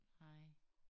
Nej